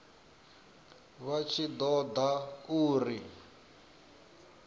vha tshi ṱo ḓa uri